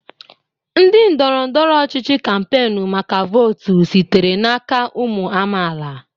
Ndị ndọrọ ndọrọ ọchịchị kampainu maka votu sitere n'aka ụmụ amaala.